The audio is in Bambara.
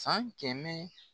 San kɛmɛ